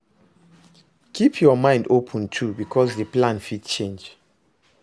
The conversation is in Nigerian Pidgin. Keep your mind open too because di plan fit change